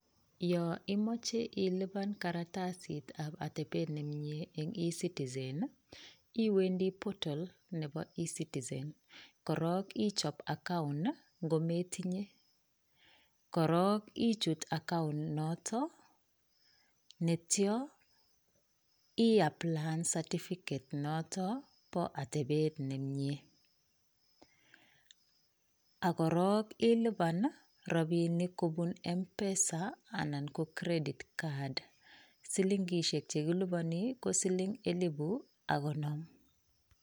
Yoimoche ilipan karatasitap atepet nemie eng e-citizen, iwendi portal nepo e-citizen korok ichop account nkometinye korok ichut account noto netyo iapyayan certificate noto po atepet nemie ak korok ilipan rapinik kobun m-pesa anan ko credit card. Silinkishek chekiliponi, ko siling elipu ak konom.